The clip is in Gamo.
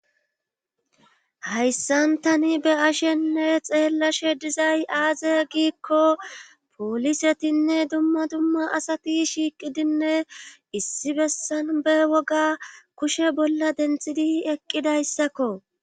Hayssantani be ashenne xeellashe dizay aaze giikko poolisetinne dumma dumma asati shiiqidinne issi bessan be woga kushe bolla denthidi eqqidayssakko.